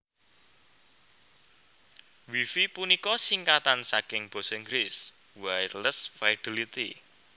Wi Fi punika singkatan saking Basa Inggris Wireless Fidelity